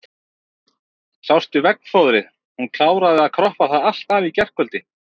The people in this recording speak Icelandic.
Sástu veggfóðrið, hún kláraði að kroppa það allt af í gærkvöld.